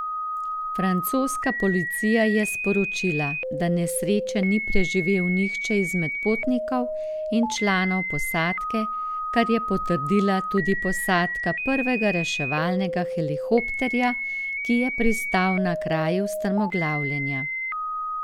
Francoska policija je sporočila, da nesreče ni preživel nihče izmed potnikov in članov posadke, kar je potrdila tudi posadka prvega reševalnega helikopterja, ki je pristal na kraju strmoglavljenja.